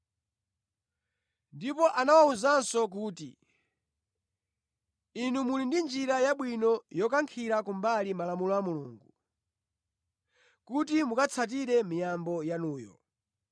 Ndipo anawawuzanso kuti, “Inu muli ndi njira yabwino yokankhira kumbali malamulo a Mulungu kuti mukatsatire miyambo yanuyo!